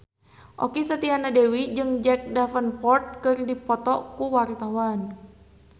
Okky Setiana Dewi jeung Jack Davenport keur dipoto ku wartawan